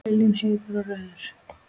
Viljinn heitur og rauður.